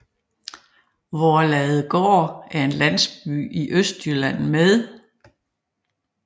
Voerladegård er en landsby i Østjylland med